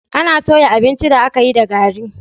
Ana toya abincin da aka yi da gari.